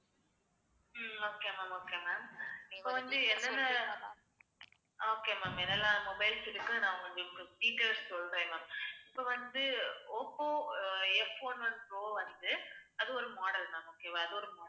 ஹம் okay ma'am okay ma'am இப்போ வந்து என்னன்னா அஹ் okay ma'am என்னெல்லாம் mobiles இருக்குனு நான் உங்களுக்கு details சொல்றேன் ma'am இப்ப வந்து Oppo ah Fone one pro வந்து அது ஒரு model ma'am okay வா